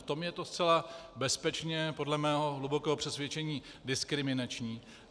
V tom je to zcela bezpečně, podle mého hlubokého přesvědčení, diskriminační.